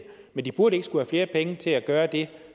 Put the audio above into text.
men de burde ikke skulle have flere penge til at gøre dét